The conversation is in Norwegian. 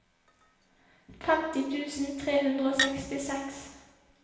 femti tusen tre hundre og sekstiseks